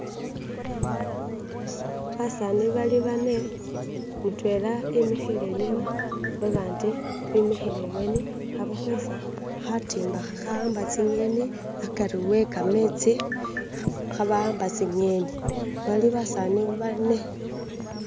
basani bali bane mutwela emikhile enyuma babandi bimikhile ebweni khabakwetsa khatimba khakhaamba tsing'eni akari wekametsi bali khebaamba tsing'eni bali basani bane